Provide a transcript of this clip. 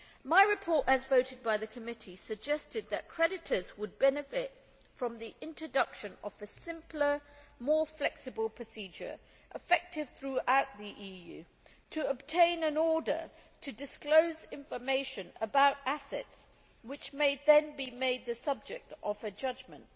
My report, as voted by the committee, suggested that creditors would benefit from the introduction of a simpler, more flexible procedure, effective throughout the EU, to obtain an order to disclose information about assets which may then be made the subject of a judgement.